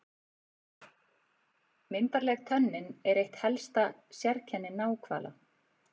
Myndarleg tönnin er eitt helsta sérkenni náhvala.